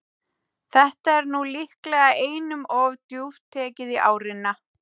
Þetta er nú líklega einum of djúpt tekið í árina.